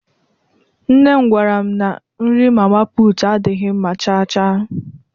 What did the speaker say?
Nnem gwaram na nri mama puutu adịghị mma chaa chaa.